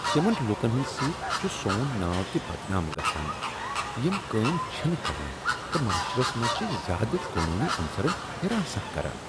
تمن لوٗکن ہٕنٛد سۭتۍ چھ سون ناو تہ بدنام گژھان یم کٲم چھنہٕ کران تہٕ معٲشرس منٛز چھ زیادٕ قانوٗنی عنصرن حراسان کران۔